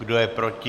Kdo je proti?